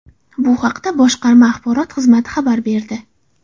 Bu haqda boshqarma axborot xizmati xabar berdi .